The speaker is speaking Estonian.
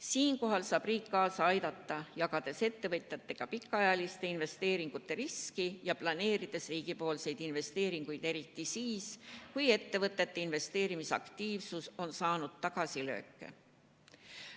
Siinkohal saab riik kaasa aidata, jagades ettevõtjatega pikaajaliste investeeringute riski ja planeerides riigipoolseid investeeringuid eriti siis, kui ettevõtete investeerimisaktiivsus on saanud tagasilööke.